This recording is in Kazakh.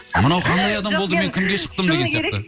мынау қандай адам болды мен кімге шықтым деген сияқты